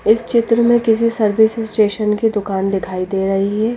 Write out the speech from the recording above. इस चित्र में किसी सर्विस स्टेशन की दुकान दिखाई दे रही है।